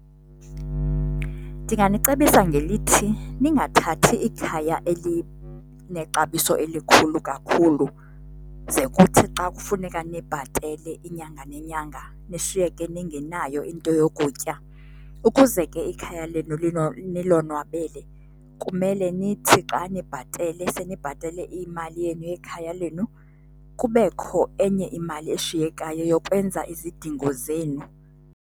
Ndinganicebisa ngelithi, ningathathi ikhaya elinexabiso elikhulu kakhulu ze kuthi xa kufuneka nibhatele iinyanga nenyanga, nishiyeke ningenayo into yokutya. Ukuze ke ikhaya lenu nilonwabele kumele nithi xa nibhatalele, senibhatele imali yenu yekhaya lenu kubekho enye imali eshiyekayo yokwenza izidingo zenu.